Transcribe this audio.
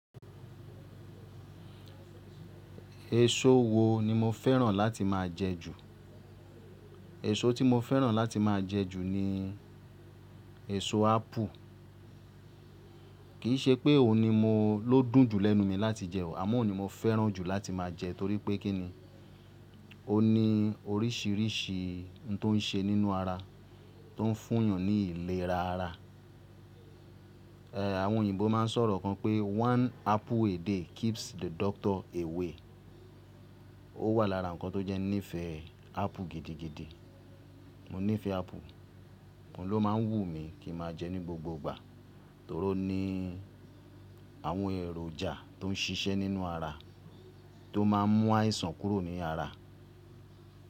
Èso wo ni mo fẹ́ràn láti máa jẹ ju? Èso tí mo fẹ́ràn láti máa jẹ ju ni èso ápù. Kì í ṣe pé òun ni mó ló dùn jù lẹ́nu mi láti jẹ o, àmọ́ òun ni mo fẹ́ràn jù láti máa jẹ torí pé kí ni, ó ní oríṣìíríṣìí ohun tó ń ṣe nínú ara, tó ń fún èèyàn ní ìlera ara. Àwọn òyìnbó máa ń sọ̀rọ̀ kan pé one apple a day keeps the doctor away. Ó wà lára nǹkan tó jẹ́ ní ìfẹ́ ápù gidigidi. Mo nífẹ̀ẹ́ ápù, òun ló máa ń wù mí kí n máa jẹ ní gbogbo ìgbà torí ó ní àwọn èròjà tó ń ṣiṣẹ́ nínú ara tó máa ń mú àìsàn kúrò ní ara.